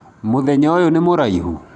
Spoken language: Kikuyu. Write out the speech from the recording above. Mũthenya ũyũ nĩ mũraihu?